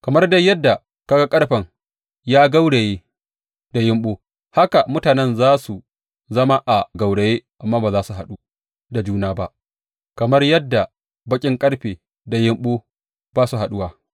Kamar dai yadda ka ga ƙarfen ya gauraye da yumɓu, haka mutanen za su zama a gauraye amma ba za su haɗu da juna ba, kamar yadda baƙin ƙarfe da yumɓu ba su haɗuwa.